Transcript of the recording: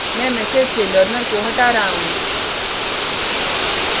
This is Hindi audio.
मैं message से learner को हटा रहा हूँ